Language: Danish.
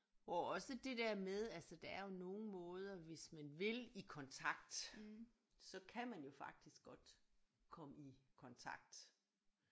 Og også det der med altså der er jo nogle måder hvis man vil i kontakt så kan man jo faktisk godt komme i kontakt